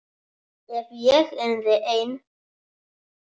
Ef ég yrði ein.